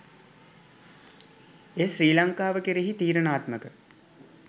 එය ශ්‍රී ලංකාව කෙරෙහි තීරණාත්මක